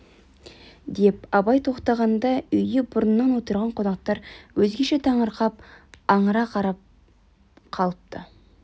деп абай тоқтағанда үйде бұрыннан отырған қонақтар өзгеше таңырқап аңыра қарап қалыпты